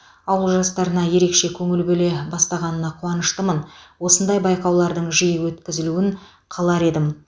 ауыл жастарына ерекше көңіл бөле бастағанына қуаныштымын осындай байқаулардың жиі өткізілуін қалар едім